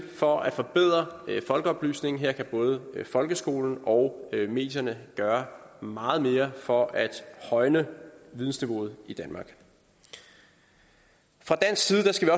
for at forbedre folkeoplysningen her kan både folkeskolen og medierne gøre meget mere for at højne vidensniveauet i danmark fra dansk side skal